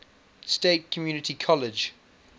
state community college